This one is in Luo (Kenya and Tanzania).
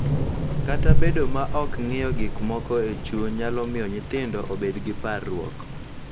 Kata bedo ma ok ng�iyo gik moko e chuny nyalo miyo nyithindo obed gi parruok, .